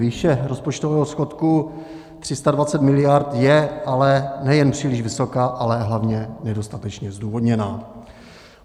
Výše rozpočtového schodku 320 miliard je ale nejen příliš vysoká, ale hlavně nedostatečně zdůvodněná.